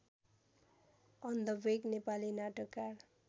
अन्धवेग नेपाली नाटककार